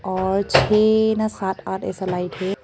और छह ना सात आठ ऐसा लाइट है।